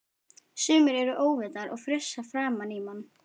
Sumir eru óvitar og frussa framan í mann!